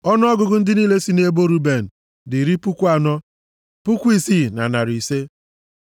Ọnụọgụgụ ndị niile si nʼebo Ruben dị iri puku anọ, puku isii na narị ise (46,500).